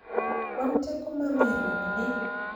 kwan teko ma geng'ruok ni